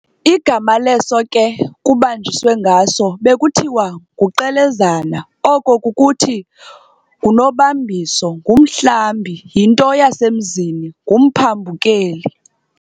Igama leso ke kubanjiswe ngaso, bekuthiwa nguQelezana, oko kukuthi,"ngunobambiso"," ngumhlambi, yinto yasemzini, ngumphambukeli.